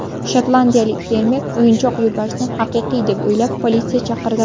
Shotlandiyalik fermer o‘yinchoq yo‘lbarsni haqiqiy deb o‘ylab, politsiya chaqirdi.